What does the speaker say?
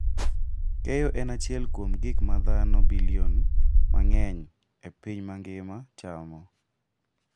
Keyo en achiel kuom gik ma dhano bilion mang'eny e piny mangima cham.